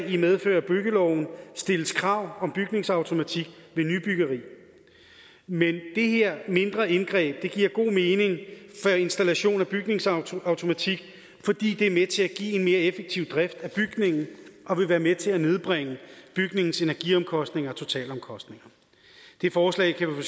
i medfør af byggeloven stilles krav om bygningsautomatik ved nybyggeri men det her mindre indgreb giver god mening for installation af bygningsautomatik fordi det er med til at give en mere effektiv drift af bygningen og vil være med til at nedbringe bygningens energiomkostninger og totalomkostninger det forslag kan vi